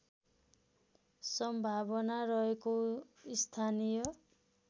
सम्भावना रहेको स्थानिय